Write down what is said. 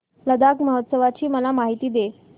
लडाख महोत्सवाची मला माहिती दे